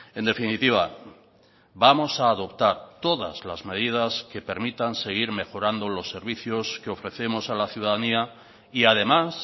en definitiva vamos a adoptar todas las medidas que permitan seguir mejorando los servicios que ofrecemos a la ciudadanía y además